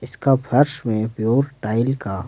इसका फर्श में प्योर टाइल का--